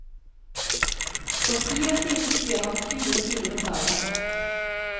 For ti år siden skrev han tjue sider om dagen.